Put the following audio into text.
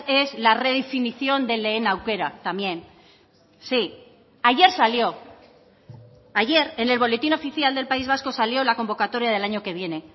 es la redefinición de lehen aukera también sí ayer salió ayer en el boletín oficial del país vasco salió la convocatoria del año que viene